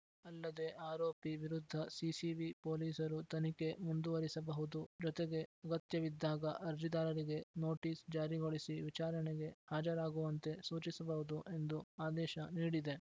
ಅಲ್ಲದೆ ಆರೋಪಿ ವಿರುದ್ಧ ಸಿಸಿಬಿ ಪೊಲೀಸರು ತನಿಖೆ ಮುಂದುವರಿಸಬಹುದು ಜೊತೆಗೆ ಅಗತ್ಯವಿದ್ದಾಗ ಅರ್ಜಿದಾರರಿಗೆ ನೋಟಿಸ್‌ ಜಾರಿಗೊಳಿಸಿ ವಿಚಾರಣೆಗೆ ಹಾಜರಾಗುವಂತೆ ಸೂಚಿಸಬಹುದು ಎಂದು ಆದೇಶ ನೀಡಿದೆ